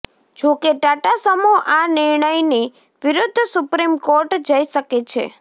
જો કે ટાટા સમૂહ આ નિર્ણયની વિરુદ્ધ સુપ્રીમ કોર્ટ જઇ શકે છે